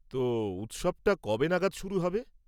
তো, উৎসবটা কবে নাগাদ শুরু হবে?